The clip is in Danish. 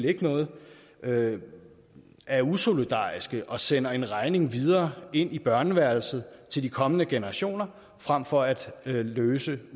ikke vil noget er usolidariske og sender en regning videre ind i børneværelset til de kommende generationer frem for at løse